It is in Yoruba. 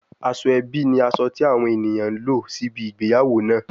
Asoebi ni aso ti awon eniyan n lo sibi igbeyawo naa